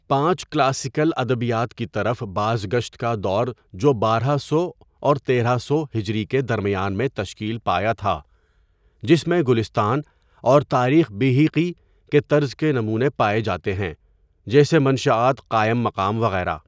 پانچ کلاسیکل ادبیات کی طرف بازگشت کادور جو بارہ سو اور تیرہ سو ہجری کے درمیان میں تشکیل پایا تھا جس میں گلستان اور تاریخ بیہہقی کے طرز کے نمونے پائے جاتے ہیں، جیسے منشآت قائم مقام وغیرہ.